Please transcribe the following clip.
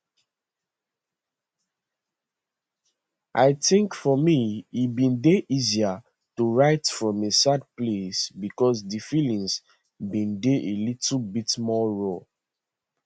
i think for me e bin dey easier to write from a sad place because di feelings bin dey a little bit more raw